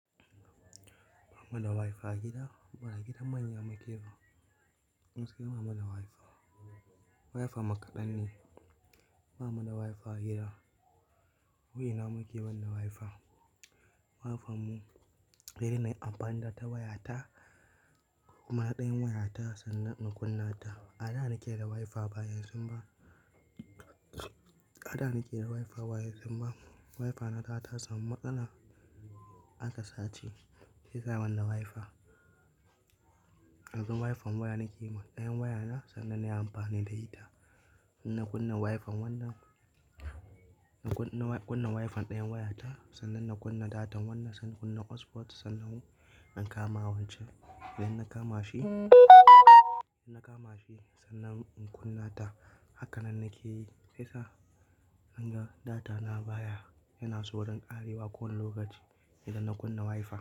Ba mu na da Wi-Fi a gida, ba a gidan manya muke ba. Mudai ba mu na da Wi-Fi. Wi-Fi mu kaɗan ne, ba mu na da Wi-Fi a gida. Wai ina muke ban da Wi-Fi? Wi-Fi mu, irin nai amfani da ta waya ta, kuma na ɗan yin waya ta sannan na kunna ta. A da nake da Wi-Fi baya yanzu ba. A da nake da Wi-Fi ba yanzu ba. Wi-Fi na ta ta samu matsala aka sace, shiyasa bani da Wi-Fi. Yanzu Wi-Fi waya nake, na ɗan yin waya na sannan na yi amfani da ita. Sannan kunna Wi-Fi wannan, na kun-kunna Wi-Fi ɗayan waya ta sannan na kunna data wannan sannan kunna hotspot sannan in kama wancan. Idan na kama shi, na kama shi sannan in kunna ta hakanan nake yi. Shiyasa na ga data na baya, yana saurin ƙarewa kowane lokaci idan na kunna Wi-Fi.